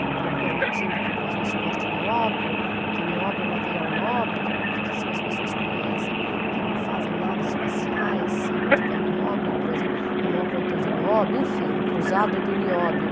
Estão permitindo que o Brasil exporte nióbio, que nióbio é um material nobre, que pouquíssimas pessoas conhecem, que não fazem naves espaciais, se não tiver nióbio, o Brasil é o maior produtor de nióbio, enfim, um cruzado do nióbio.